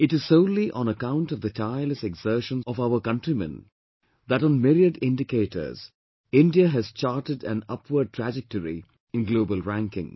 It is solely on account of the tireless exertions of our countrymen that on myriad indicators, India has charted an upward trajectory in global rankings